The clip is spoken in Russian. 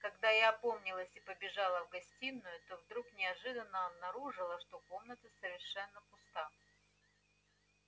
когда я опомнилась и побежала в гостиную то вдруг неожиданно обнаружила что комната совершенно пуста